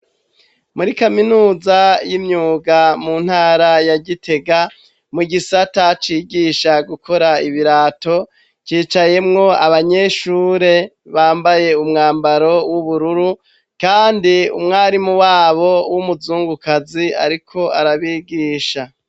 Muri kaminuza y'imyuga mu ntara ya Gitega mu gisata cigisha gukora ibirato cicayemwo abanyeshure bambaye umwambaro w'ubururu kandi umwarimu wabo w'umuzungukazi ariko arabigisha